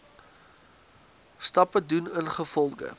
stappe doen ingevolge